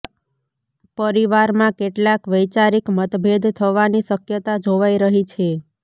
પરિવારમાં કેટલાક વૈચારિક મતભેદ થવાની શકયતા જોવાઈ રહી છે